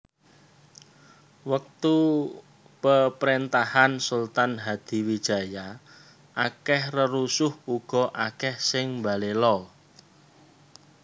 Wektu peprentahan Sultan Hadiwijaya akeh rerusuh uga akeh sing mbalela